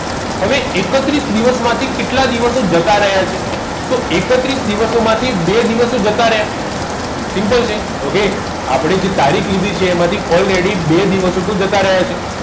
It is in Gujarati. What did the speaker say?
હવે એકત્રીસ દિવસ માથી કેટલા દિવસ જતાં રયા છે તો એકત્રીસ દિવસ માથી બે દિવસો જતાં રયા simple okay આપદે જે તારીખ લીધી છે એમથી already બે દિવસો તો જતાં રયા છે